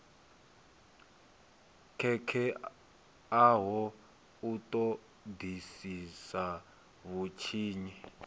khetheaho u ṱo ḓisisa vhutshinyi